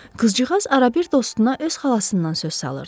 Qızcığaz arabir dostuna öz xalasından söz salırdı.